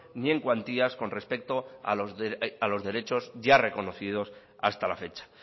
ni en cuantías con respecto a los derechos ya reconocidos hasta la fecha